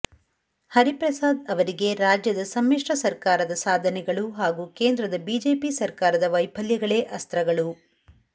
ಹರಿಪ್ರಸಾದ್ ಅವರಿಗೆ ರಾಜ್ಯದ ಸಮ್ಮಿಶ್ರ ಸರ್ಕಾರದ ಸಾಧನೆಗಳು ಹಾಗೂ ಕೇಂದ್ರದ ಬಿಜೆಪಿ ಸರ್ಕಾರದ ವೈಫಲ್ಯಗಳೇ ಅಸ್ತ್ರಗಳು